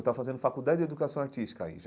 Eu estava fazendo faculdade de educação artística aí já.